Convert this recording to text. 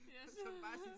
Ja så